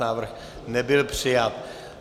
Návrh nebyl přijat.